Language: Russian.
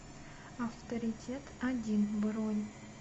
авторитет один бронь